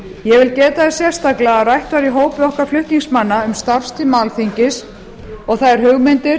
ég vil geta þess sérstaklega að rætt var í hópi okkar flutningsmanna um starfstíma alþingis og þær hugmyndir